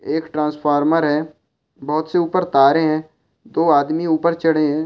एक ट्रांसफार्मर है बहुत से उप्पर तारे है दो आदमी उप्पर चड़े है।